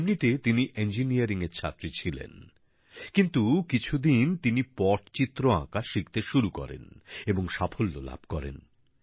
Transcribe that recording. এমনিতে তিনি ইঞ্জিনিয়ারিং এর ছাত্রী ছিলেন কিন্তু কিছুদিন তিনি পটচিত্র আঁকা শিখতে শুরু করেন এবং সাফল্য লাভ করেন